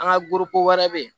An ka wɛrɛ bɛ yen